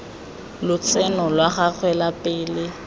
lotseno la gagwe la pele